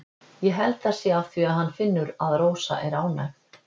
Ég held það sé af því að hann finnur að Rósa er ánægð.